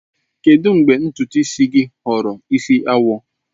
Kedu mgbe ntutu isi gị ghọrọ isi awọ?